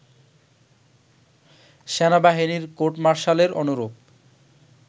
সেনাবাহিনীর কোর্টমার্শালের অনুরূপ